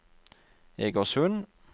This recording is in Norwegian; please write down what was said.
Egersund